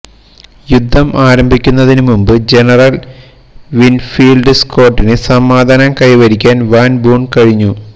യുദ്ധം ആരംഭിക്കുന്നതിന് മുമ്പ് ജനറൽ വിൻഫീൽഡ് സ്കോട്ടിന് സമാധാനം കൈവരിക്കാൻ വാൻ ബൂൺ കഴിഞ്ഞു